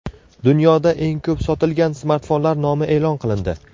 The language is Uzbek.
Dunyoda eng ko‘p sotilgan smartfonlar nomi e’lon qilindi.